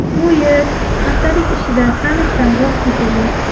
Bu yil haftalik ishida sammitdan voz kechilgan.